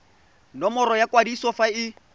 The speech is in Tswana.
nomoro ya kwadiso fa e